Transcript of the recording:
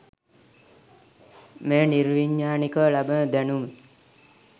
මෙය නිර්විඥානිකව ලබන දැනුම